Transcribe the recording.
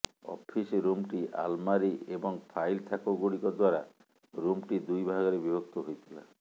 office ରୁମ୍ଟି ଆଲମାରୀ ଏବଂ ଫାଇଲ୍ ଥାକ ଗୁଡିକ ଦ୍ୱାରା ରୁମ୍ଟି ଦୁଇଭାଗରେ ବିଭକ୍ତ ହୋଇଥିଲା